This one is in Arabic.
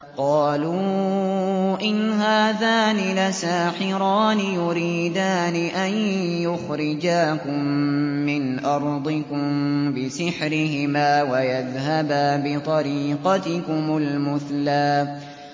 قَالُوا إِنْ هَٰذَانِ لَسَاحِرَانِ يُرِيدَانِ أَن يُخْرِجَاكُم مِّنْ أَرْضِكُم بِسِحْرِهِمَا وَيَذْهَبَا بِطَرِيقَتِكُمُ الْمُثْلَىٰ